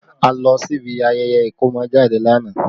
A lọ sí ibi ayẹyẹ ikomojade lánàá